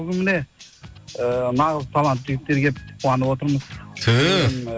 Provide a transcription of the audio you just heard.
бүгін міне ііі нағыз талантты жігіттер келіпті қуанып отырмыз түһ